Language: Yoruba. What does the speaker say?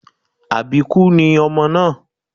Àbíkú ni ọmọ náà